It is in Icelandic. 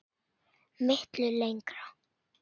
Miklu lengra.